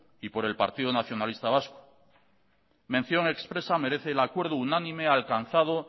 y por el partido nacionalista vasco mención expresa merece el acuerdo unánime alcanzado